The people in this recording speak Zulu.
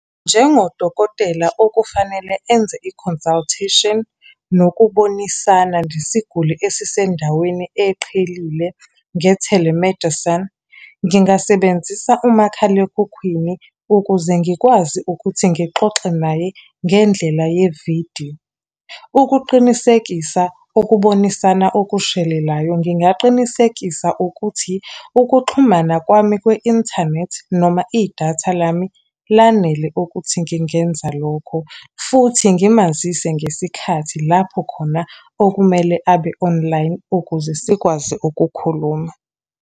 Njengodokotela okufanele enze i-consultation, nokubonisana nesiguli esisendaweni eqhelile nge-telemedicine, ngingasebenzisa umakhalekhukhwini ukuze ngikwazi ukuthi ngixoxe naye ngendlela yevidiyo. Ukuqinisekisa ukubonisana okushelelayo, ngingaqinisekisa ukuthi ukuxhumana kwami kwe-inthanethi noma idatha lami lanele ukuthi ngingenza lokho. Futhi ngimazise ngesikhathi lapho khona okumele abe-online ukuze sikwazi ukukhuluma.